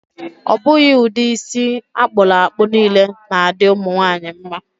Ọ bụghị ụdị isi akpụrụ akpụ niile na-adị ụmụ nwaanyị mma.